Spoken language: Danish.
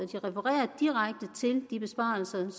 refererer til de besparelser